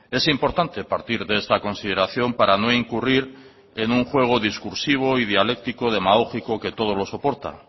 es importante partir de esta consideración para no incurrir en un juego discursivo y dialéctico demagógico que todo lo soporta